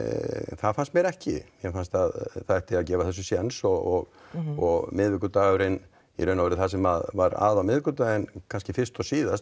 það fannst mér ekki mér fannst að það átti að gefa þessu sjens og og miðvikudagurinn í raun og veru það sem var að á miðvikudaginn fyrst og síðast